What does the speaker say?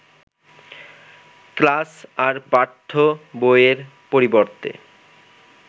class আর পাঠ্য বইয়ের পরিবর্তে